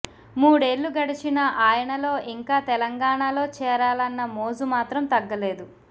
మూడేళ్లు గడిచినా ఆయనలో ఇంకా తెలంగాణాలో చేరాలన్న మోజు మాత్రం తగ్గలేదు